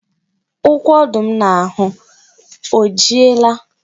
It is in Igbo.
Ukwu ọdụ m ahụ o jiela?